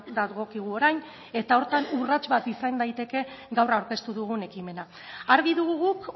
dagokigu orain eta horretan urrats bat izan daiteke gaur aurkeztu dugun ekimena argi dugu guk